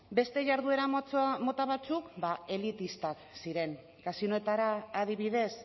beste jarduera mota batzuk ba elitistak ziren kasinoetara adibidez